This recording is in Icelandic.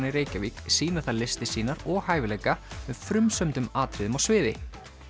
í Reykjavík sýna þar listir sýnar og hæfileika með frumsömdum atriðum á sviði